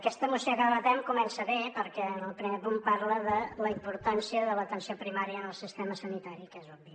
aquesta moció que debatem comença bé perquè en el primer punt parla de la importància de l’atenció primària en el sistema sanitari que és obvi